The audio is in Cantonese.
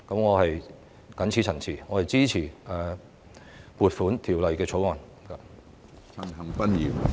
我謹此陳辭，支持《2021年撥款條例草案》。